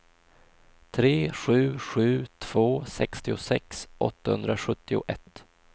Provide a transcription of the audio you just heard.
tre sju sju två sextiosex åttahundrasjuttioett